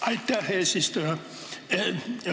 Aitäh, eesistuja!